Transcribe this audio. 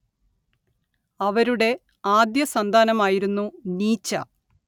അവരുടെ ആദ്യസന്താനമായിരുന്നു നീച്ച